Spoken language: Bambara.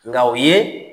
Nka o ye